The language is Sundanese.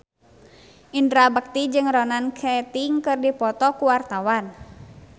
Indra Bekti jeung Ronan Keating keur dipoto ku wartawan